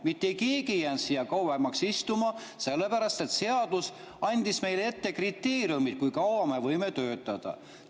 Mitte keegi ei jäänud siia kauemaks istuma, sellepärast et seadus andis meile ette kriteeriumid, kui kaua me võime töötada.